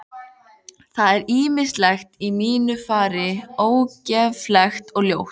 Það er ýmislegt í mínu fari ógeðfellt og ljótt.